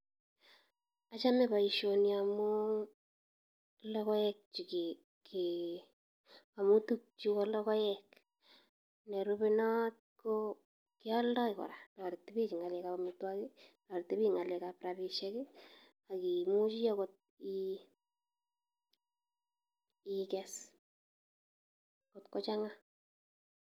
Achame boisioni amu logoek chike ke, amu tukchu ko logoek. Nerube not ko kialdoi kora. Toreti biich eng ng'alekab amitwogik, toreti biik eng ng'alekab rabisiek, agimuchi angot ii iges kotko chang'a.